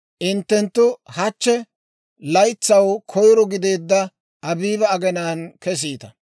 Hinttenttu hachche, laytsaw koyro gideedda Abiiba aginaan kesiita.